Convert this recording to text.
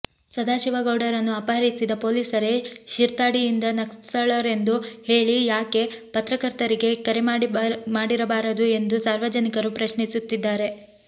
ಸದಾಶಿವ ಗೌಡರನ್ನು ಅಪಹರಿಸಿದ ಪೊಲೀಸರೇ ಶಿರ್ತಾಡಿಯಿಂದ ನಕ್ಸಳರೆಂದು ಹೇಳಿ ಯಾಕೆ ಪತ್ರಕರ್ತರಿಗೆ ಕರೆ ಮಾಡಿರಬಾರದು ಎಂದು ಸಾರ್ವಜನಿಕರು ಪ್ರಶ್ನಿಸುತ್ತಿದ್ದಾರೆ